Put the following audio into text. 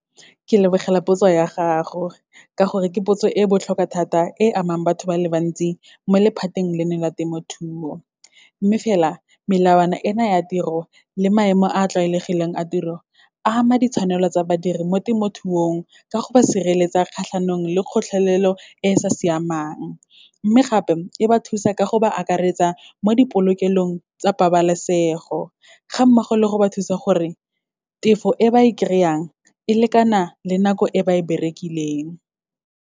Ke lebogela potso ya gago, ka gore ke potso e botlhokwa thata, e amang batho ba le bantsi mo lephateng leno la temothuo. Mme fela, melawana e na ya tiro, le maemo a a tlwaelegileng a tiro a ama ditshwanelo tsa badiri mo temothuong, ka go ba sireletsa kgatlhanong le kgotlhelelo e sa siamang. Mme gape, e ba thusa ka go ba akaretsa mo di polokelong tsa pabalesego, ga mmogo le go ba thusa gore tefo e ba e kry-ang, e lekana le nako e ba e berekileng.